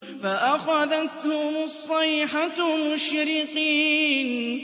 فَأَخَذَتْهُمُ الصَّيْحَةُ مُشْرِقِينَ